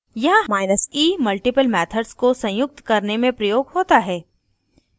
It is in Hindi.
यहाँe multiple methods को संयुक्त करने में प्रयोग होता है